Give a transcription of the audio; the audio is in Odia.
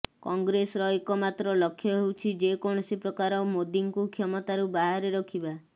କଂଗ୍ରେସର ଏକ ମାତ୍ର ଲକ୍ଷ୍ୟ ହେଉଛି ଯେ କୌଣସି ପ୍ରକାର ମୋଦିଙ୍କୁ କ୍ଷମତାରୁ ବାହାରେ ରଖିବା